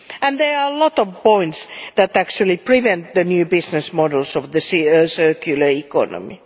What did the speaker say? There are a lot of points that actually prevent the new business models of the circular economy.